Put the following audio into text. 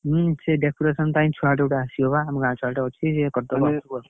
ହୁଁ ସେଇ decoration ପାଇଁ ଛୁଆ ଦିଟା ଆସିବେ ବା, ଆମ ଗାଁ ଛୁଆ ଗୋଟେ ଅଛି ସେ କରିଦବ ।